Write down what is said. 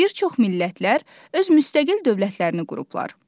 Bir çox millətlər öz müstəqil dövlətlərini qurublar.